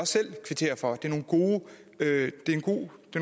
selv kvittere for dem det